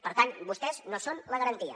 per tant vostès no són la garantia